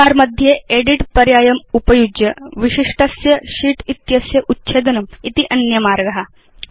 menu bar मध्ये edit पर्यायमुपयुज्य विशिष्टस्य शीत् इत्यस्य उच्छेदनम् इति अन्यमार्ग